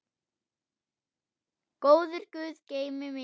Góður guð geymi þig.